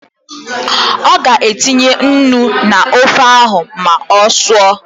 Ọ ga-etinye nnu n’ofe ahụ ma ọ sụọ